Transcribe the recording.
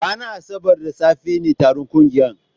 Ranar Asabar da safe ne taron ƙungiyar